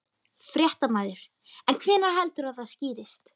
Fréttamaður: En hvenær heldurðu að það skýrist?